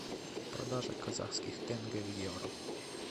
продажа казахских тенге в евро